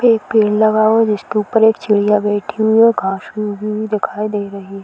एक पेड़ लगा हुआ है जिसके ऊपर एक चिड़िया बैठी हुई है। घास भी उगी हुई दिखाई दे रही --